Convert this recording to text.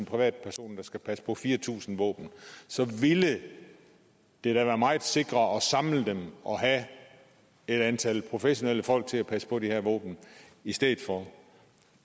privatpersoner der skal passe på fire tusind våben ville det da være meget sikrere at samle dem og have et antal professionelle folk til at passe på de her våben i stedet for